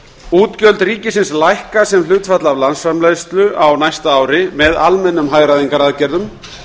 útgjöld ríkisins lækka sem hlutfall af landsframleiðslu á næsta ári með almennum hagræðingaraðgerðum